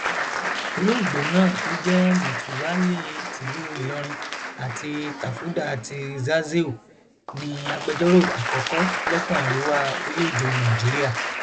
olóògbé náà tó jẹ mùtúwálí tìlú ìlọrin àti tàfúdà ti zazzeu ní agbẹjọrò àkọkọ lẹkun arewa orílẹèdè nàíjíríà